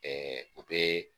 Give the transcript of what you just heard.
o bɛ